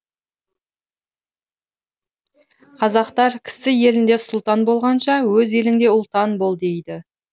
қазақтар кісі елінде сұлтан болғанша өз еліңде ұлтан бол дейді